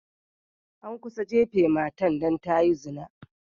An kusa jafe matan dan ta yi zina.